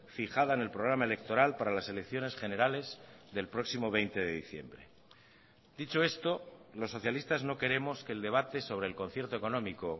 fijada en el programa electoral para las elecciones generales del próximo veinte de diciembre dicho esto los socialistas no queremos que el debate sobre el concierto económico